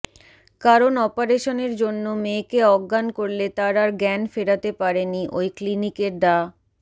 কারণ অপারেশনের জন্য মেয়েকে অজ্ঞান করলে তার আর জ্ঞান ফেরাতে পারেনি ওই কিনিকের ডা